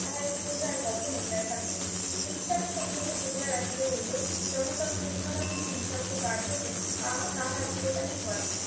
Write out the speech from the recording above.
তাহা ইতিমধ্যে আর কখনো দেখাননাই হিংসাকে সংযত করিয়া রাখিতে হইলো জনতার শৃঙ্খলাহীন হিংসাত্মক কার্যকে আহ তাহার চিরকালই ভয়